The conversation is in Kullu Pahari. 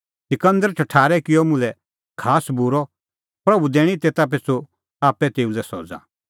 सिकंदर ठठारै किअ मुल्है खास्सअ बूरअ प्रभू दैणीं तेता पिछ़ू आप्पै तेऊ लै सज़ा